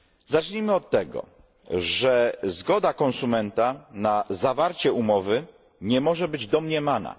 Zacznijmy od tego, że zgoda konsumenta na zawarcie umowy nie może być domniemana.